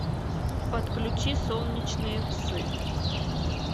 подключи солнечные псы